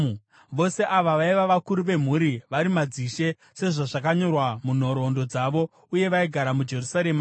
Vose ava vaiva vakuru vemhuri, vari madzishe sezvazvakanyorwa munhoroondo dzavo. Uye vaigara muJerusarema.